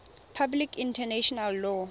public international law